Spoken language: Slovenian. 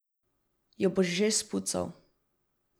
Jo boš že spucal.